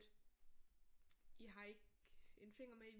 I har ikke en finger med i